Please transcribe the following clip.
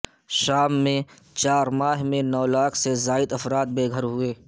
شام میں چار ماہ میں نو لاکھ سے زائد افراد بے گھر ہوئے